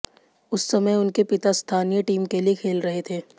उस समय उनके पिता स्थानीय टीम के लिए खेल रहे थे